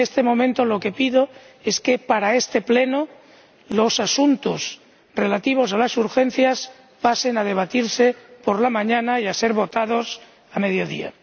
En este momento, lo que pido es que, para este Pleno, los asuntos relativos a las urgencias pasen a debatirse por la mañana y sean votados a mediodía.